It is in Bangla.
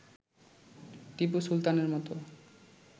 টিপু সুলতানের মতো